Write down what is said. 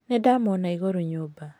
Nĩndamuona igũrũ nyũmba.